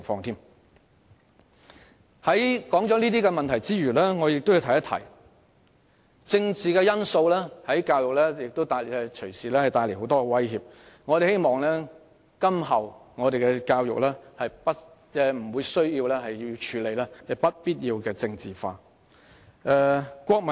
除上述問題外，我亦想指出政治因素亦隨時會為教育帶來很多威脅，希望今後我們的教育無須處理不必要的政治化問題。